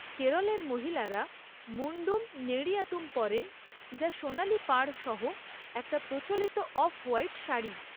কেরলের মহিলারা মুন্ডুম নেড়িয়াতুম পরেন যা সোনালি পাড় সহ একটা প্রচলিত অফ হোয়াইট শাড়ি।